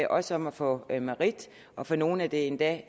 også om at få merit og for nogle er det endda